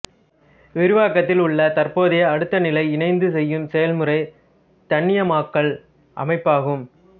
விரிவாக்கத்தில் உள்ள தற்போதைய அடுத்த நிலை இணைந்துசெய்யும் செயல்முறை தன்னியக்கமாக்கல் அமைப்பு ஆகும்